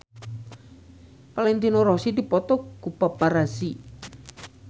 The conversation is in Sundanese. Valentino Rossi dipoto ku paparazi